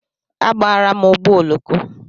Agbara m ụgbọ oloko.